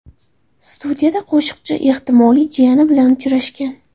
Studiyada qo‘shiqchi ehtimoliy jiyani bilan uchrashgan.